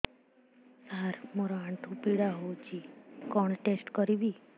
ସାର ମୋର ଆଣ୍ଠୁ ପୀଡା ହଉଚି କଣ ଟେଷ୍ଟ କରିବି